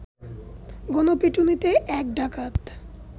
গণপিটুনিতে এক ডাকাত